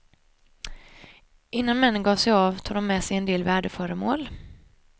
Innan männen gav sig av tog de med sig en del värdeföremål.